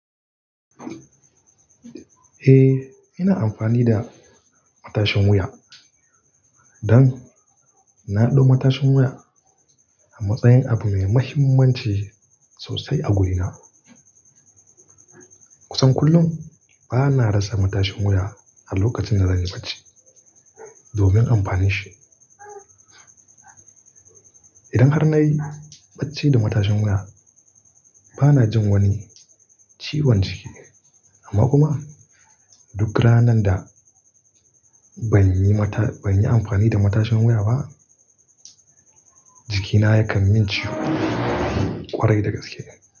Eh, ina amfani da matashin wuya. Don naɗau matashin wuya a matsayin abu mai mahimmanci sosai a wurina. Kusan kullum bana rasa matashin wuya a lokacin zan yi bacci domin amfanin shi. Idan har na yi bacci da matashin wuya bana jin wani ciwon jiki amma kuma duk ranan da ban yi amfani da matashin wuya ba jikina yakan min ciwo kwarai da gaske.